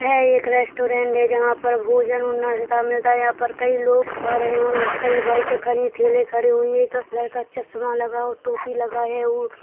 यह एक रेस्टॉरेंट है जहाँ पर भोजन और नास्ता मिलता है यहाँ पर कई लोग आ रहे हैं और कई बाइकें खड़ी कई ठेले खड़े हुए एक लड़का चश्मा लगा टोपी लागे और --